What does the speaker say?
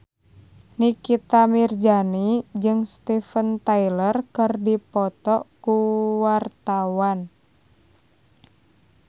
Nikita Mirzani jeung Steven Tyler keur dipoto ku wartawan